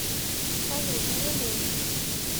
салют мне лень